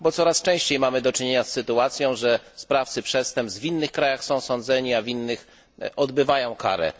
Bo coraz częściej mamy do czynienia z sytuacją, w której sprawcy przestępstw w innych krajach są sądzeni, a w innych odbywają karę.